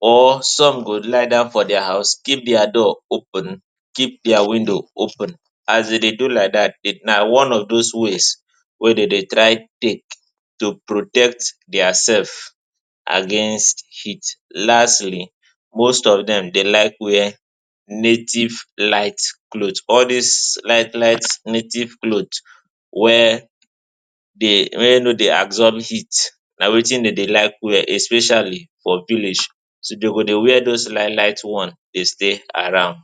or some go lie down for dia house, keep dia door open, keep dia window open. As dem do like dat, na one of those ways wey dem dey try take protect demselvs against heat. Lastly, most of dem dey like wear native light cloth. All dis light light native clothes wey dey, wey no dey absorb heat, na wetin dem dey like wear, especially for village. So dem go dey wear those light light one, dey stay around.